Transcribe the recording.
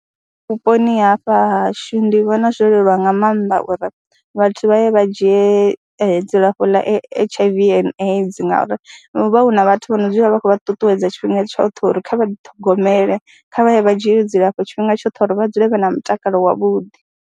Vhuponi hafha ha hashu ndi vhona zwo leluwa nga maanḓa uri vhathu vha ye vha dzhie dzilafho ḽa H_I_V and AIDS ngauri hu vha hu na vhathu vha no dzula vha khou vha ṱuṱuwedza tshifhinga tshoṱhe uri kha vha ḓiṱhogomele, kha vha ye vha dzhie dzilafho tshifhinga tshoṱhe uri vha dzule vha na mutakalo wavhuḓi.